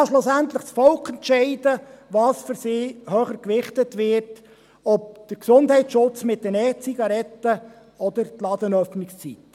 Schlussendlich kann das Volk entscheiden, was aus seiner Sicht höher gewichtet wird, der Gesundheitsschutz mit den E-Zigaretten oder die Ladenöffnungszeiten.